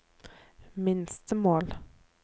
minstemål